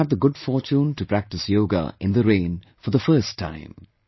But I also had the good fortune to practice Yoga in the rain for the first time